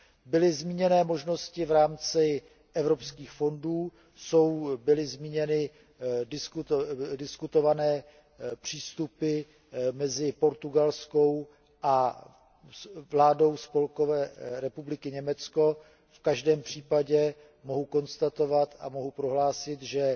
Byly zmíněny možnosti v rámci evropských fondů, byly zmíněny diskutované přístupy mezi portugalskou vládou a vládou Spolkové republiky Německo, v každém případě mohu konstatovat a mohu prohlásit, že